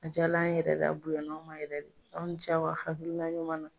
A jala an ye yɛrɛ de a bonyana anw ma yɛrɛ de aw ni ce aw ka hakilila ɲuman na.